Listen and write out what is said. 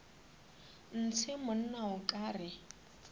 ntshe monna o ka re